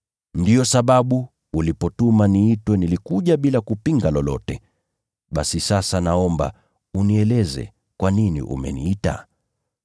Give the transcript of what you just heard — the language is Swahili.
Ndiyo sababu ulipotuma niitwe nilikuja bila kupinga lolote. Basi sasa naomba unieleze kwa nini umeniita?”